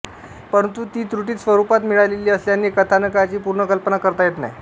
परंतु ती त्रुटित स्वरूपात मिळालेली असल्याने कथानकाची पूर्ण कल्पना करता येत नाही